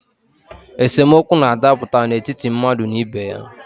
Esemokwu na-adaputa n’etiti mmadụ na ibe ya